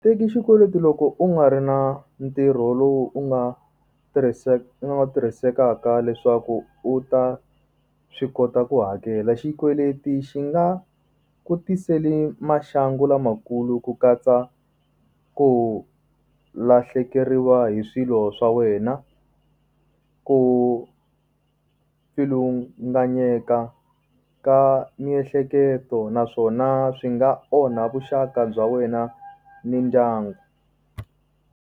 Teki xikweleti loko u nga ri na ntirho lowu u nga u nga wu tirhisekaka leswaku u ta swi kota ku hakela. Xikweleti xi nga ku tiseli maxangu lamakulu ku katsa ku lahlekeriwa hi swilo swa wena ku pfilunganyeka ka miehleketo naswona swi nga onha vuxaka bya wena ni ndyangu.